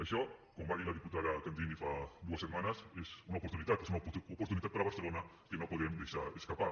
això com va dir la diputada candini fa dues setmanes és una oportunitat és una oportunitat per a barcelona que no podem deixar escapar